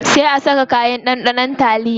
Sai a saka kayan ɗanɗanon taliyar.